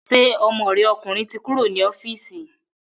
Ṣé ọmọ rẹ ọkùnrin ti kúrò ní ọ́fíìsì